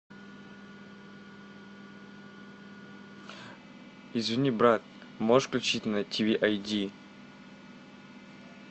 извини брат можешь включить на ти ви ай ди